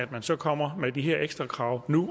at man så kommer med de her ekstra krav nu